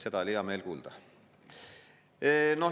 Seda oli hea meel kuulda.